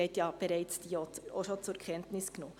Sie haben diese ja auch schon zur Kenntnis genommen.